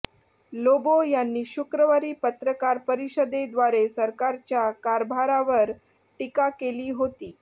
लोबो यांनी शुक्रवारी पत्रकार परिषदेद्वारे सरकारच्या कारभारावर टीका केली होती